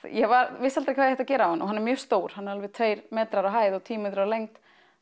ég vissi aldrei hvað ég ætti að gera á hann og hann er mjög stór alveg tveir metrar á hæð og tíu metrar á lengd